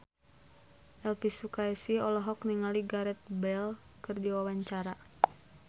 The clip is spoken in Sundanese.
Elvy Sukaesih olohok ningali Gareth Bale keur diwawancara